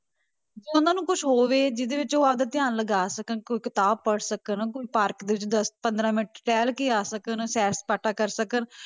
ਜਾਂ ਉਹਨਾਂ ਨੂੰ ਕੁਛ ਹੋਵੇ ਜਿਹਦੇ ਵਿੱਚ ਉਹ ਆਪਦਾ ਧਿਆਨ ਲਗਾ ਸਕਣ, ਕੋਈ ਕਿਤਾਬ ਪੜ੍ਹ ਸਕਣ, ਕੋਈ park ਦੇ ਵਿੱਚ ਦਸ ਪੰਦਰਾਂ ਮਿੰਟ ਟਹਿਲ ਕੇ ਆ ਸਕਣ ਸੈਰ ਸਪਾਟਾ ਕਰ ਸਕਣ